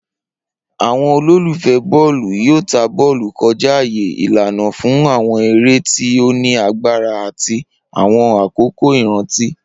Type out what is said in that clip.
Awọn ololufẹ bọọlu yoo ta bọọlu kọja aaye, ilana fun awọn ere ti o ni agbara ati awọn akoko iranti.